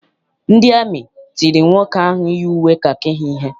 Ndị amị tiri nwoke ahụ yi uwe kakị ha ihe.